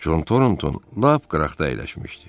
Con Tornton lap qıraqda əyləşmişdi.